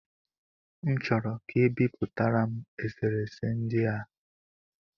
M chọrọ ka e bipụtara m eserese ndị a